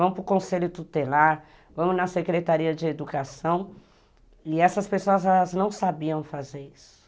Vamos para o conselho tutelar, vamos na secretaria de educação, e essas pessoas não sabiam fazer isso.